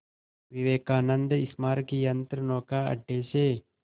विवेकानंद स्मारक यंत्रनौका अड्डे से